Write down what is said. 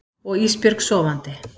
Og Ísbjörg sofandi.